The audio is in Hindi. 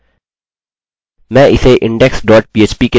पहले कुछ टैग्स जोड़ते हैं